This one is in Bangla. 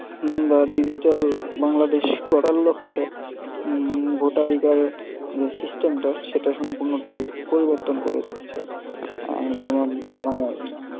হম digital বাংলাদেশ গড়ার লক্ষে ভোটাধিকার যে system টা সেটা সম্পূর্ণ টাই পরিবর্তন করে দিচ্ছে যেমন মানে